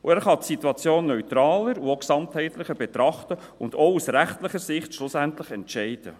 Er kann die Situation neutraler und ganzheitlicher betrachten und schlussendlich auch aus rechtlicher Sicht entscheiden.